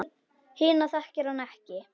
Hina þekkir hann ekki.